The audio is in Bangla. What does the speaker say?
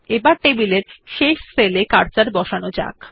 আসুন টেবিল এর শেষ সেল এ কার্সার বসানো যাক